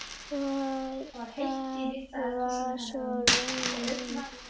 Og það var svo raunin.